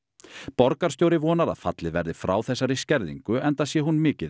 borgarstjóri vonar að fallið verði frá þessari skerðingu enda sé hún mikið